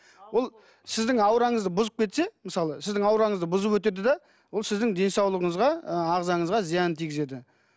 ол сіздің аураңызды бұзып кетсе мысалы сіздің аураңызды бұзып өтеді де ол сіздің денсаулығыңызға ы ағзаңызға зиянын тигізеді